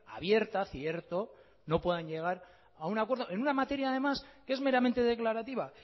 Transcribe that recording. abierta cierto no puedan llegar a un acuerdo en una materia además que es meramente declarativa